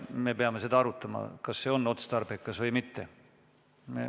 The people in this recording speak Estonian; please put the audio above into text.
Me peame arutama, kas see on otstarbekas või mitte.